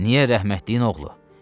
Niyə rəhmətliyin oğlu?